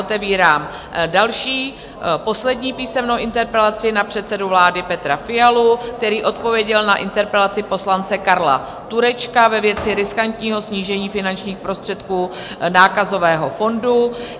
Otevírám další, poslední písemnou interpelaci na předsedu vlády Petra Fialu, který odpověděl na interpelaci poslance Karla Turečka ve věci riskantního snížení finančních prostředků Nákazového fondu.